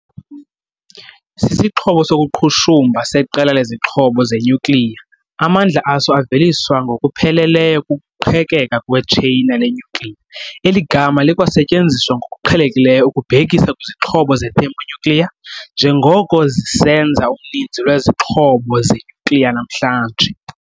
Sisixhobo sokuqhushumba seqela lezixhobo zenyukliya, amandla aso aveliswa ngokupheleleyo kukuqhekeka kwetsheyina lenyukliya. Eli gama likwasetyenziswa ngokuqhelekileyo ukubhekisa kwizixhobo ze-thermonuclear, njengoko zisenza uninzi lwezixhobo zenyukliya namhlanje.